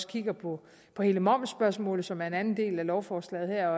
kigger på på hele momsspørgsmålet som er en anden del af lovforslaget her